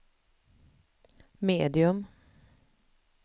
medium